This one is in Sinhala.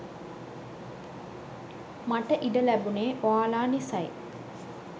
මට ඉඩ ලැබුණේ ඔයාලා නිසයි.